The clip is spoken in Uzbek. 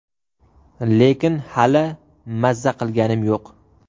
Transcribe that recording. Lekin hali mazza qilganim yo‘q.